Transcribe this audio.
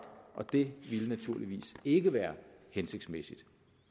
og det ville naturligvis ikke være hensigtsmæssigt